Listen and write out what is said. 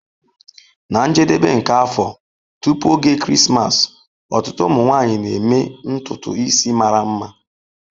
Na njedebe nke afọ, tupu oge Krismas, ọtụtụ ụmụ nwanyị na-eme ntutu isi mara mma.